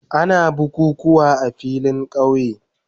Ana bukukuwa a filin kauye.